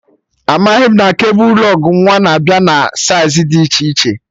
Amaghị m na kebul lụg nwa na-abịa na saiz dị iche iche